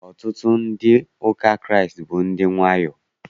Ọtụtụ ndị ụka Kraịst bụ ndị wayo.